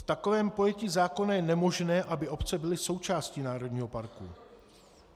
V takovém pojetí zákona je nemožné, aby obce byly součástí národního parku.